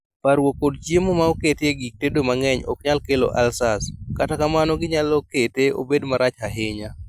Parruok kod chiemo ma oket ye gik tedo ma ng'eny ok nyal kelo ulcers, kata kamano gi nyalo kete obed marach ahinya